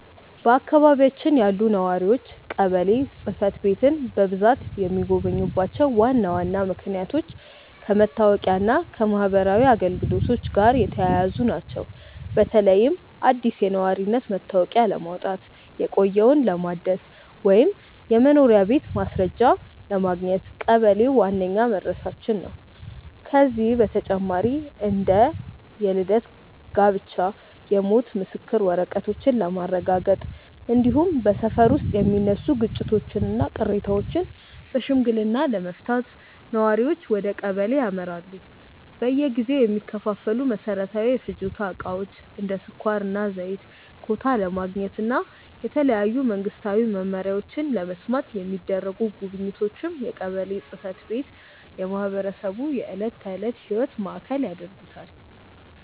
በአካባቢያችን ያሉ ነዋሪዎች ቀበሌ ጽሕፈት ቤትን በብዛት የሚጎበኙባቸው ዋና ዋና ምክንያቶች ከመታወቂያና ከማኅበራዊ አገልግሎቶች ጋር የተያያዙ ናቸው። በተለይም አዲስ የነዋሪነት መታወቂያ ለማውጣት፣ የቆየውን ለማደስ ወይም የመኖሪያ ቤት ማስረጃ ለማግኘት ቀበሌ ዋነኛው መድረሻችን ነው። ከዚህ በተጨማሪ እንደ የልደት፣ የጋብቻና የሞት የምስክር ወረቀቶችን ለማረጋገጥ፣ እንዲሁም በሰፈር ውስጥ የሚነሱ ግጭቶችንና ቅሬታዎችን በሽምግልና ለመፍታት ነዋሪዎች ወደ ቀበሌ ያመራሉ። በየጊዜው የሚከፋፈሉ መሠረታዊ የፍጆታ ዕቃዎችን (እንደ ስኳርና ዘይት) ኮታ ለማግኘትና የተለያዩ መንግስታዊ መመሪያዎችን ለመስማት የሚደረጉ ጉብኝቶችም የቀበሌን ጽሕፈት ቤት የማኅበረሰቡ የዕለት ተዕለት ሕይወት ማዕከል ያደርጉታል።